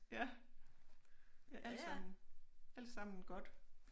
Ja det alt sammen alt sammen godt